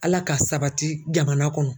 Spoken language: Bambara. Ala k'a sabati jamana kɔnɔ.